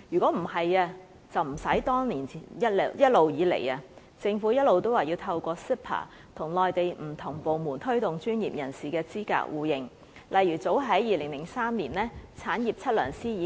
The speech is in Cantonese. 例如，產業測量師早在2003年已